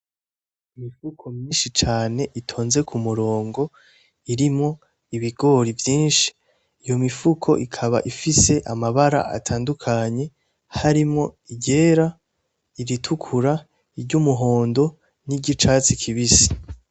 Imifuko myinshi cane itonze ku murongo irimwo ibigori vyinshi, iyo mifuko ikaba ifise amabara atandukanye harimwo iryera, iritukura, iry'umuhondo n'iryicatsi kibisi.